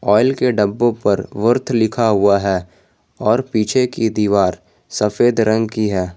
Oil के डब्बों पर वर्थ लिखा हुआ है और पीछे की दीवार सफेद रंग की है।